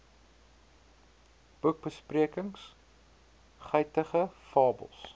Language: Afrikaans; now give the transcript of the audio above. boekbesprekings guitige fabels